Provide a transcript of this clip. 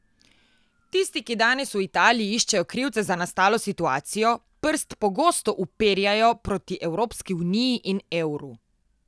Tisti, ki danes v Italiji iščejo krivce za nastalo situacijo, prst pogosto uperjajo proti Evropski uniji in evru.